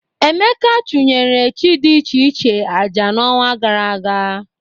Emeka chụnyere chi dị iche iche aja n'ọnwa gara aga.